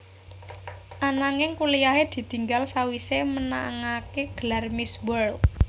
Ananging kuliyahé ditinggal sawisé menangaké gelar Miss World